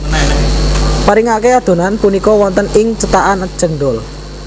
Paringake adhonan punika wonten ing cetakan cendhol